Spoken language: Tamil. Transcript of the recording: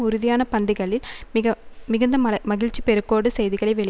உறுதியான பந்திகளில் மிக மிகுந்த மழ் மகிழ்ச்சிப் பெருக்கோடு செய்திகளை வெளி